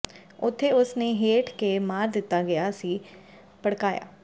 ਇੱਥੇ ਉਸ ਨੇ ਹਠ ਕੇ ਮਾਰ ਦਿੱਤਾ ਗਿਆ ਸੀ ਭੜਕਾਇਆ